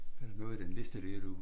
Er der noget i den liste dér du